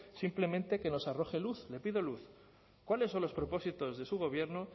simplemente que nos arroje luz le pido luz cuáles son los propósitos de su gobierno